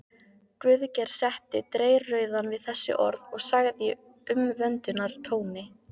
Guðgeir setti dreyrrauðan við þessi orð og sagði í umvöndunartóni